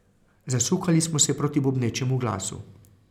Zasukali smo se proti bobnečemu glasu.